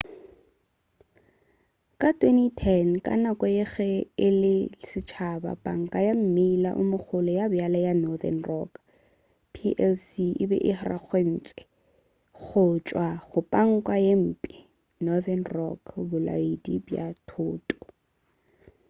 ka 2010 ka nako ya ge e le ya setšhaba panka ya mmila o mogolo ya bjale ya northern rock plc e be e arogantšwe go tšwa go 'panka ye mphe' northern rock bolaodi bja thoto